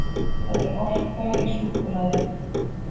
Það er orka í súkkulaði.